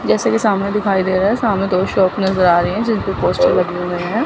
जैसे कि सामने दिखाई दे रहा है सामने दो शॉप नजर आ रही हैं जिनपे पोस्टर लगे हुए हैं।